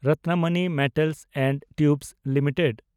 Ratnamani Metals and Tubes limited